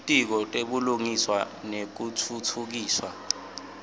litiko letebulungiswa nekutfutfukiswa